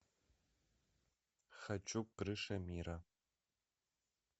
хочу крыша мира